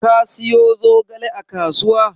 Ka siyo zogale a kasuwa?